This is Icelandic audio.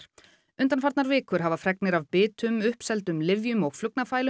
undanfarnar vikur hafa fregnir af bitum lyfjum og